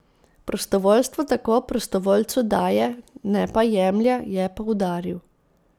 Prostovoljstvo tako prostovoljcu daje, ne pa jemlje, je poudaril.